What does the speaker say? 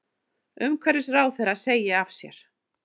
Umhverfisráðherra segi af sér